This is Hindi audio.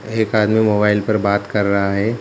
एक आदमी मोबाइल पर बात कर रहा है ।